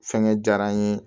Fɛngɛ diyara n ye